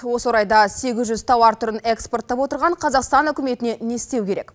осы орайда сегіз жүз тауар түрін экспорттап отырған қазақстан үкіметіне не істеу керек